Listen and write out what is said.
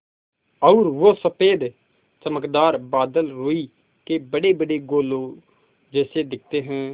और वो सफ़ेद चमकदार बादल रूई के बड़ेबड़े गोलों जैसे दिखते हैं